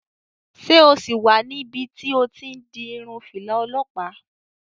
Ṣé o sì wà níbi tí o ti n di irun fìlà olọ́pàá?